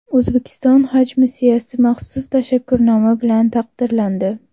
O‘zbekiston haj missiyasi maxsus tashakkurnoma bilan taqdirlandi.